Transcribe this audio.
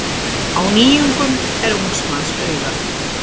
Á nýjungum er ungs manns augað.